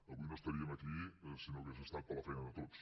avui no estaríem aquí si no hagués estat per la feina de tots